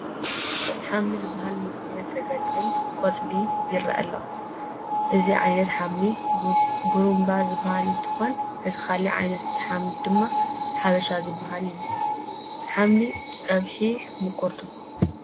ሓምሊ ዝበሃል ንምግብነት ዘግልግል ቆፅሊ ይርአ ኣሎ፡፡ እዚ ዓይነት ሓምሊ ጉርምባ ዝበሃል እንትኾን እቲ ካልእ ዓይነት ድማ ሓምሊ ሓበሻ ዝበሃል እዩ፡፡ ሓምሊ ፀብሑ ምቑር ዶ?